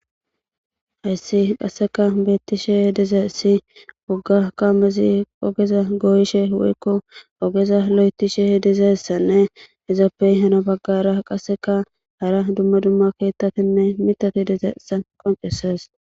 Haysi qaseka betishe dizaysi woga kamezi ogeza goyishe woyko loythishe dizaysanne izappe heno bagara qaseka hara duma duma keethatinne mithati dizaysa qoncisses